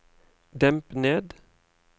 demp ned